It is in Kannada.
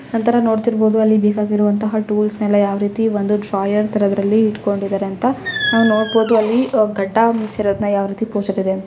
ನಂತರ ನೋಡ್ತಾ ಇರಬಹುದು ಬೇಕಾದ ಟೂಲ್ಸ್ ಯಾವ ರೀತಿಯಲ್ಲಿ ಒಂದು ಡ್ರಾರ್ ಅಲ್ಲಿ ಇಟ್ಟುಕೊಂಡಿದ್ದಾರೆ ಅಂತ ನೋಡ್ತಾ ಇರಬಹುದು ಅದೇ ಗಡ್ಡ